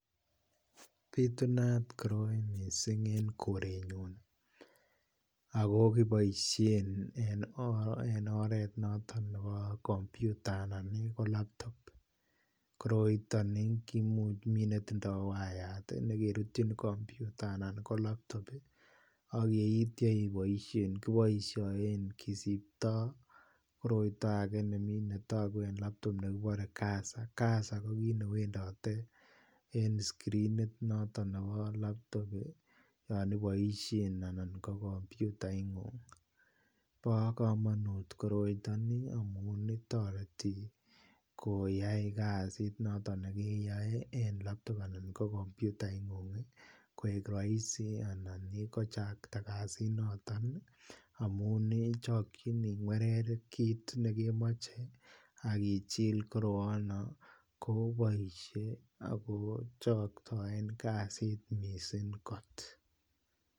Bitunat mising koroi en korenyun ago kiboisien en oret noton nebo kompyuta anan ko laptop koroiton kimuch miten netindoi wayat nekerutyin kompyuta anan ko laptop ak yeitya iboisien kiboisien kisiptoi koroito age netogu en laptop nekibore cursor, cursor ko kit ne wendote en screenit noton nebo laptop yon iboisien anan ko kompyutaingung bo komonut koroito amun toreti koyai kasit noton ne kiyoe en laptop anan ko kompyutaingung koik rahisi anan kochakta kasit noton amun chokyin ingwerer kit nekemoche ak ichil koroano koboisie ago choktoen kasit mising kot